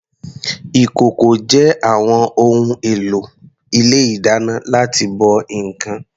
Ìkòkò jẹ́ àwọn ohun èlò ilé ìdáná láti bọ ǹkan.